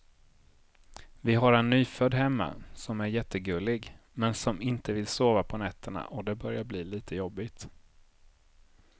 Vi har en nyfödd hemma som är jättegullig, men som inte vill sova på nätterna och det börjar bli lite jobbigt.